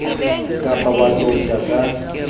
ka ba wa touta ka